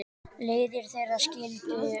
Leiðir þeirra skildu.